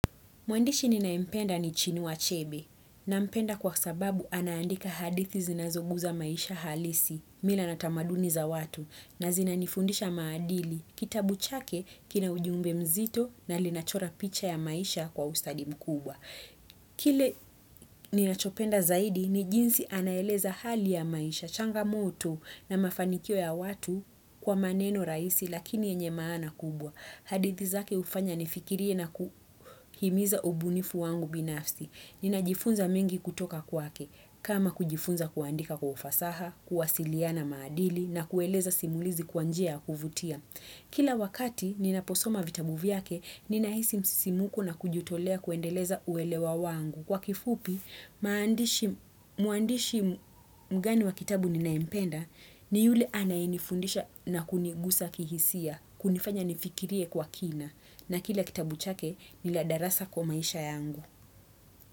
Mwandishi ninaempenda ni Chinua Achebe. Nampenda kwa sababu anaandika hadithi zinazoguza maisha halisi, mila na tamaduni za watu na zinanifundisha maadili. Kitabu chake kina ujumbe mzito na linachora picha ya maisha kwa ustadimu mkubwa. Kile ninachopenda zaidi ni jinzi anaeleza hali ya maisha, changamoto na mafanikio ya watu kwa maneno raisi lakini yenye maana kubwa. Hadithi zake ufanya nifikirie na kuhimiza ubunifu wangu binafsi. Ninajifunza mengi kutoka kwake, kama kujifunza kuandika kwa ufasaha, kuwasiliana madili na kueleza simulizi kwa njia ya kuvutia. Kila wakati ninaposoma vitabu kvyake, ninahisi msisimuko na kujitolea kuendeleza uelewa wangu. Kwa kifupi, mwandishi mgani wa kitabu ninayempenda, ni yule anainifundisha na kunigusa kihisia, kunifanya nifikirie kwa kina. Na kila kitabu chake, niladarasa kwa maisha yangu.